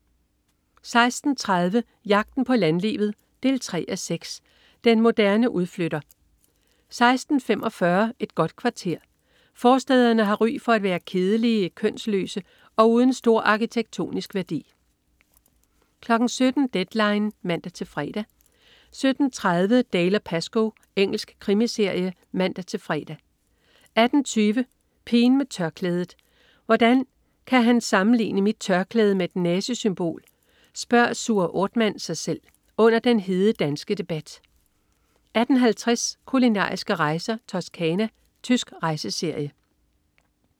16.30 Jagten på landlivet 3:6. Den moderne udflytter 16.45 Et godt kvarter. Forstæderne har ry for at være kedelige, kønsløse og uden stor arkitektonisk værdi 17.00 Deadline 17:00 (man-fre) 17.30 Dalziel & Pascoe. Engelsk krimiserie (man-fre) 18.20 Pigen med tørklædet. "Hvordan kan han sammenligne mit tørklæde med et nazisymbol?", spørger Suher Othmann sig selv under den hede danske debat 18.50 Kulinariske rejser: Toscana. Tysk rejseserie